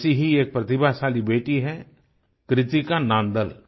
ऐसी ही एक प्रतिभाशाली बेटी है कृतिका नांदल